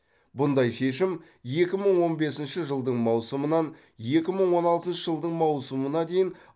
бұндай шешім екі мың он бесінші жылдың маусымынан екі мың он алтыншы жылдың маусымына дейін